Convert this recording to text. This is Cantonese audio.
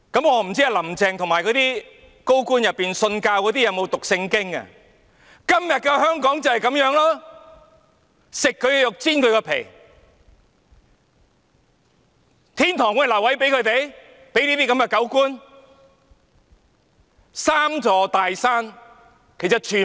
我不知道"林鄭"及那些高官信徒有否讀聖經，今天的香港就是如此，"吃人的肉，剝人的皮"，天堂會留位給他們這些"狗官"嗎？